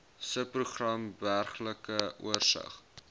subprogram burgerlike oorsig